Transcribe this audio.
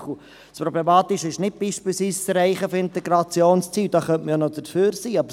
– Das Problematische ist nicht das Erreichen der Integrationsziele – da könnte man dafür sein –;